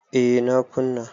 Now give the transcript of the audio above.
A na kuna